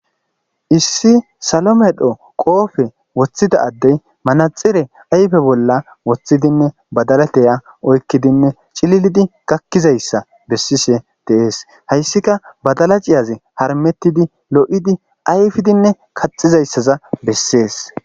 Issi salomedho qoofe woththida addey manaxire ayfe bolla woththidinne badalateya oykkidinne cililidi kakkizayssa bessishe deees hayssika badala ciyaze harmettidi lo'idi ayfidinne kaxizayssaza bessees